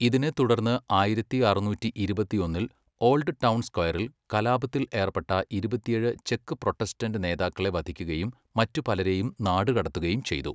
ഇതിനെ തുടർന്ന് ആയിരത്തി അറുന്നൂറ്റി ഇരുപത്തിയൊന്നിൽ ഓൾഡ് ടൗൺ സ്ക്വയറിൽ കലാപത്തിൽ ഏർപ്പെട്ട ഇരുപത്തിയേഴ് ചെക്ക് പ്രൊട്ടസ്റ്റന്റ് നേതാക്കളെ വധിക്കുകയും മറ്റു പലരെയും നാടുകടത്തുകയും ചെയ്തു.